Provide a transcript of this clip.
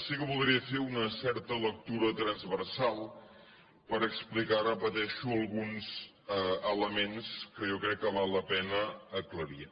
sí que voldria fer ne una certa lectura transversal per explicar ho repeteixo alguns elements que jo crec que val la pena aclarir